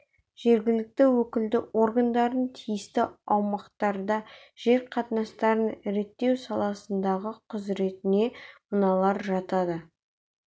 жергілікті өкілді органдардың тиісті аумақтарда жер қатынастарын реттеу саласындағы құзыретне мыналар жатады